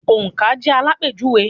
Òǹkà jẹ́ àlápéjùwe.